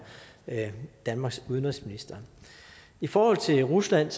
danmarks udenrigsminister i forhold til rusland